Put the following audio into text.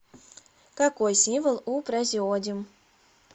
какой символ у празеодим